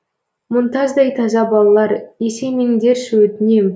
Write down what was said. мұнтаздай таза балалар есеймеңдерші өтінем